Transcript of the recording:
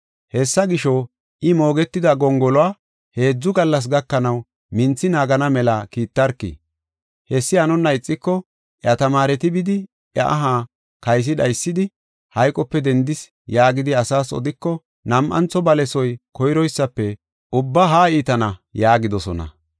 Hessa gisho, I moogetida gongoluwa heedzu gallas gakanaw, minthi naagana mela kiittarki. Hessi hanonna ixiko, iya tamaareti bidi iya aha kaysi dhaysidi, ‘Hayqope dendis’ yaagidi asaas odiko nam7antho balesoy koyroysafe ubba haa iitana” yaagidosona.